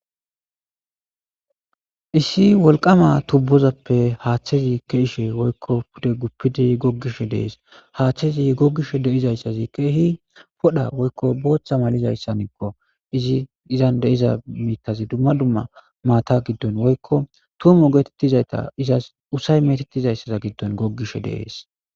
issi wolqama tubbozappe haaththezi ke'she woykko pude guppidi goggishe de'es, haaththezi goggishe de'izayssazi keehi podha woykko booththa malizayssanikko, izi izan de'iza miithazi dumma dumma maata giddon woykko tuumu geetettizayta izas usay metettizayssaza giddon goggishe de'es